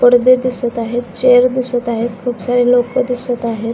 पडदे दिसत आहेत चेअर दिसत आहेत खूप सारे लोक दिसत आहेत.